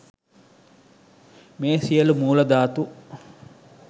මේ සියලු මූල ධාතු